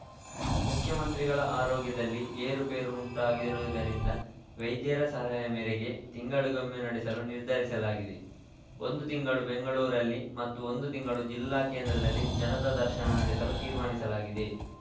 ಮುಖ್ಯಮಂತ್ರಿಗಳ ಆರೋಗ್ಯದಲ್ಲಿ ಏರುಪೇರು ಉಂಟಾಗಿರುವುದರಿಂದ ವೈದ್ಯರ ಸಲಹೆ ಮೇರೆಗೆ ತಿಂಗಳಿಗೊಮ್ಮೆ ನಡೆಸಲು ನಿರ್ಧರಿಸಲಾಗಿದೆ ಒಂದು ತಿಂಗಳು ಬೆಂಗಳೂರಲ್ಲಿ ಮತ್ತು ಒಂದು ತಿಂಗಳು ಜಿಲ್ಲಾ ಕೇಂದ್ರದಲ್ಲಿ ಜನತದರ್ಶನ ನಡೆಸಲು ತೀರ್ಮಾನಿಸಲಾಗಿದೆ